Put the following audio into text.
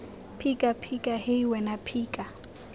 phika phika hei wena phika